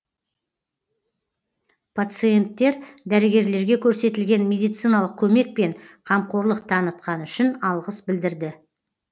пациенттер дәрігерлерге көрсетілген медициналық көмек пен қамқорлық танытқаны үшін алғыс білдірді